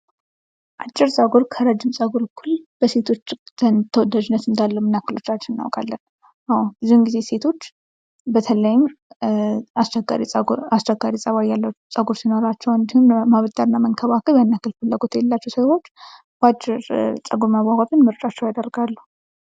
አጭር ጸጉር ከረጅም ጸጉር እኩል በሴቶች ተወዳጅነት እንዳለው ምንያክሎቻችን እናውቃለን? አወ ብዙውን ጊዜ ሴቶች በተለይም አስቸጋሪ ጠባይ ያለው ጸጉር ሲኖራቸው ማበጠርና መንከባከብ ያንያክል ፍላጎት የሌላቸው ሴቶች በአጭር መቆረጥ ምርጫቸው ያደርጋሉ።